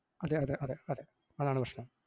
അതെയതെ അതെ അതെ, അതാണ് പ്രശ്‌നം.